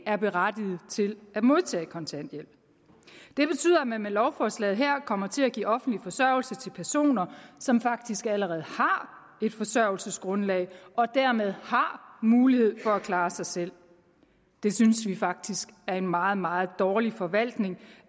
er berettiget til at modtage kontanthjælp det betyder at man med lovforslaget her kommer til at give offentlig forsørgelse til personer som faktisk allerede har et forsørgelsesgrundlag og dermed har mulighed for at klare sig selv det synes vi faktisk er en meget meget dårlig forvaltning